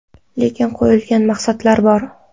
Lekin qo‘yilgan maqsadlar bor.